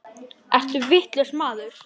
Ertu vitlaus maður?